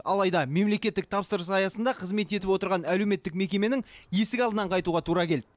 алайда мемлекеттік тапсырыс аясында қызмет етіп отырған әлеуметтік мекеменің есік алдынан қайтуға тура келді